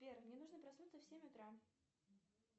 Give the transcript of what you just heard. сбер мне нужно проснуться в семь утра